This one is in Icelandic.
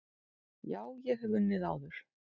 Já, ég hef unnið áður.